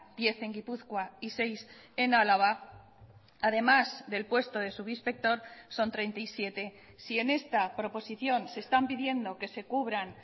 diez en gipuzkoa y seis en álava además del puesto de subinspector son treinta y siete si en esta proposición se están pidiendo que se cubran